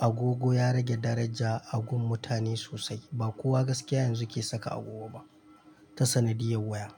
agogo ya rage daraja a gun mutane sosai. Ba kowa gaskiya yanzu ke saka agogo ba ta sanadiyar waya.